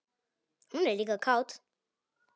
Hún er líka kát.